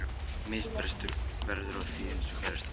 Ef misbrestur verður á því- eins og gerist á bænum